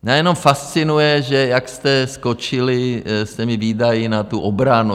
Mě jenom fascinuje, že jak jste skočili s těmi výdaji na tu obranu.